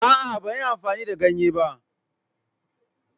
A'a, ban yi amfani da ganye ba.